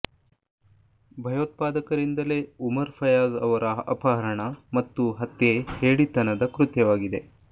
ಭಯೋತ್ಪಾದಕರಿಂದ ಲೆಉಮರ್ ಫಯಾಜ್ ಅವರ ಅಪಹರಣ ಮತ್ತು ಹತ್ಯೆ ಹೇಡಿತನದ ಕೃತ್ಯವಾಗಿದೆ